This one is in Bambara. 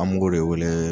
An b'o de wele